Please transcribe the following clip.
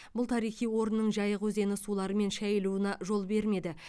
бұл тарихи орынның жайық өзені суларымен шайылуына жол бермеді